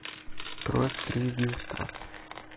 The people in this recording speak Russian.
кровь три единства